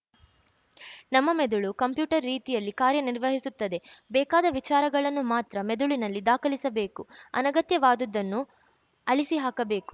ನಮ್ಮ ಮೆದುಳು ಕಂಪ್ಯೂಟರ್‌ ರೀತಿಯಲ್ಲಿ ಕಾರ್ಯ ನಿರ್ವಹಿಸುತ್ತದೆ ಬೇಕಾದ ವಿಚಾರಗಳನ್ನು ಮಾತ್ರ ಮೆದುಳಿನಲ್ಲಿ ದಾಖಲಿಸಬೇಕು ಅನಗತ್ಯವಾದುದುದನ್ನು ಅಳಿಸಿಹಾಕಬೇಕು